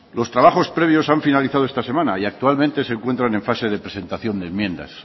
los trabajos previos han finalizado esta semana y actualmente se encuentran en fase de presentación de enmiendas